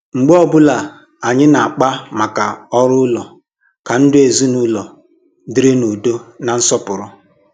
mgbe ọbụla anyị na-akpa maka orù ụlọ ka ndụ ezinụlọ dịrị n’ùdọ̀ na nsọpụrụ.